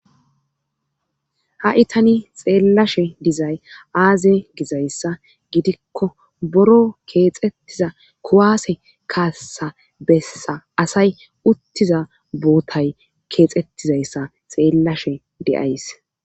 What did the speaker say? ha'i tani xeellashe dizay aaze gizayssa gidikko boro keexettiza kuwaase kaassa bessa asay uttiza bootay keexettizayssa xeellashe de'ays